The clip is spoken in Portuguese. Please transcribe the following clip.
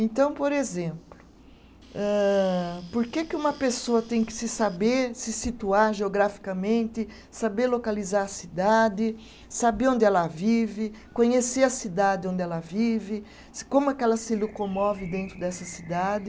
Então, por exemplo, âh por que que uma pessoa tem que se saber, se situar geograficamente, saber localizar a cidade, saber onde ela vive, conhecer a cidade onde ela vive, como é que ela se locomove dentro dessa cidade?